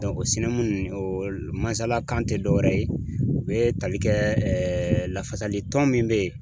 o o mansalakan tɛ dɔ wɛrɛ ye u bɛ tali kɛ lafasali tɔn min bɛ yen.